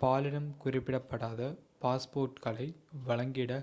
பாலினம் குறிப்பிடப்படாத x பாஸ்போர்ட்களை வழங்கிட